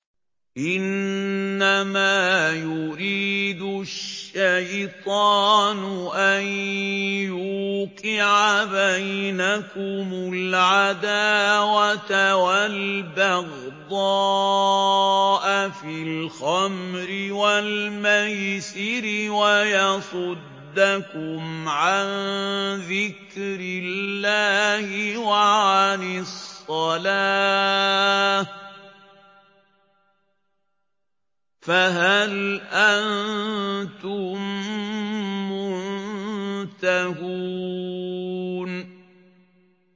إِنَّمَا يُرِيدُ الشَّيْطَانُ أَن يُوقِعَ بَيْنَكُمُ الْعَدَاوَةَ وَالْبَغْضَاءَ فِي الْخَمْرِ وَالْمَيْسِرِ وَيَصُدَّكُمْ عَن ذِكْرِ اللَّهِ وَعَنِ الصَّلَاةِ ۖ فَهَلْ أَنتُم مُّنتَهُونَ